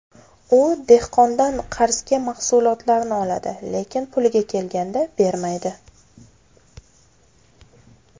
U dehqondan qarzga mahsulotlarni oladi, lekin puliga kelganda bermaydi.